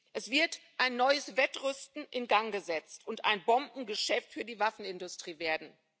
Es wird ein neues Wettrüsten in Gang gesetzt und ein Bombengeschäft für die Waffenindustrie werden.